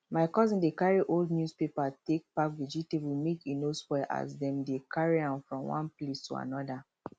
my cousin dey carry old newspaper take pack vegetable make e no spoil as dem dey carry am from one place to another